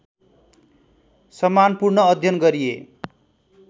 सम्मानपूर्ण अध्ययन गरिए